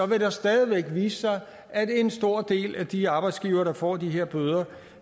vil det stadig væk vise sig at en stor del af de arbejdsgivere der får de her bøder